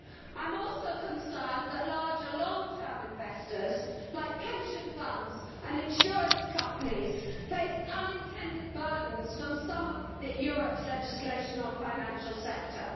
I am also concerned that larger long term investors like pension funds and insurance companies face unintended burdens from some of Europe's legislation on the financial sector.